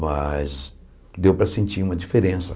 Mas deu para sentir uma diferença.